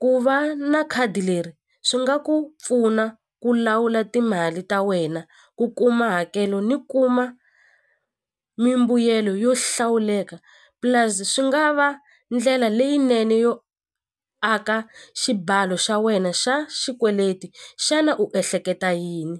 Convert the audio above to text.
ku va na khadi leri swi nga ku pfuna ku lawula timali ta wena ku kuma hakelo ni kuma mimbuyelo yo hlawuleka plus swi nga va ndlela leyinene yo aka xibalo xa wena xa xikweleti xana u ehleketa yini.